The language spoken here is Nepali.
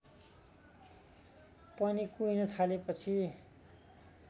पनि कुहिन थालेपछि